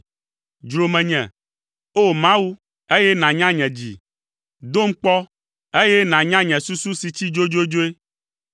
Dzro menye, o Mawu, eye nànya nye dzi; dom kpɔ, eye nànya nye susu si tsi dzodzodzoe.